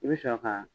I bɛ sɔrɔ ka